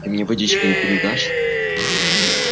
ты мне водички не передашь